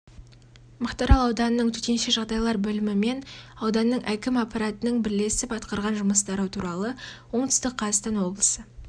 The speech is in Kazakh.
мақтаарал ауданының төтенше жағдайлар бөлімі мен ауданның әкім аппаратының бірлесіп атқарған жұмыстары туралы оңтүстік қазақстан облысы